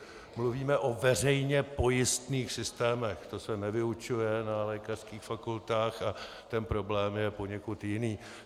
Mluvíme o veřejně pojistných systémech, to se nevyučuje na lékařských fakultách a ten problém je poněkud jiný.